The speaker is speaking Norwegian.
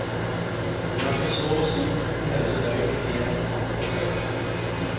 De hadde så å si to hele døgn i ett framfor seg.